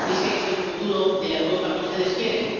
¿Ese es el futuro de la Europa que ustedes quieren?